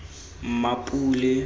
mmapule